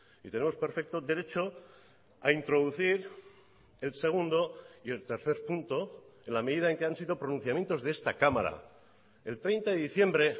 y tenemos perfecto derecho a introducir el segundo y el tercer punto en la medida en que han sido pronunciamientos de esta cámara el treinta de diciembre